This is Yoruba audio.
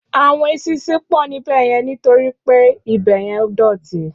Áwòn éṣìnṣìn pò níbèyèn nitóri pé ibèyèn dòtí